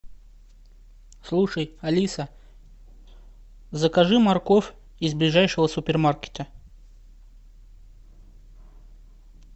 слушай алиса закажи морковь из ближайшего супермаркета